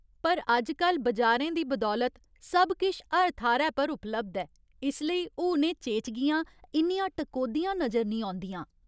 पर अजकल बजारें दी बदौलत सब किश हर थाह्‌रै पर उपलब्ध ऐ, इसलेई हुन एह् चेचगियां इन्नियां टकोह्‌दियां नजर निं औंदियां।